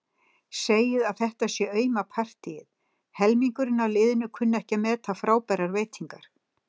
Segja að þetta sé auma partíið, helmingurinn af liðinu kunni ekki að meta frábærar veitingar.